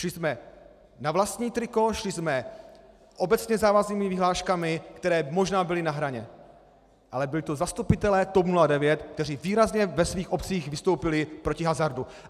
Šli jsme na vlastní triko, šli jsme obecně závaznými vyhláškami, které možná byly na hraně, ale byli to zastupitelé TOP 09, kteří výrazně ve svých obcích vystoupili proti hazardu.